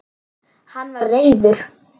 Hann var reiður.